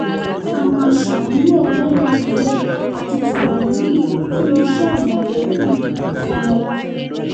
a máa ṣàmúlò ọgbọ́n ìbílẹ̀ àti tìgbàlódé fún iṣẹ́ àmọ̀tẹ́kùn kọmọláfẹ̀